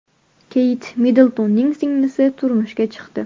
Keyt Middltonning singlisi turmushga chiqdi.